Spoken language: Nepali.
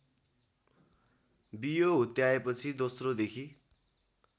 बियो हुत्याएपछि दोस्रोदेखि